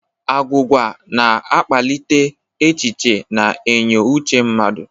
Agwụgwa na akpalịte echichi na enyo Uche mmadu.